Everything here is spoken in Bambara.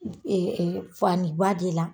Fa ni ba de la.